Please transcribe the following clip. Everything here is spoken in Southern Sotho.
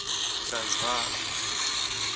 transvala